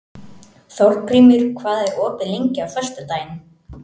Þórgrímur, hvað er opið lengi á föstudaginn?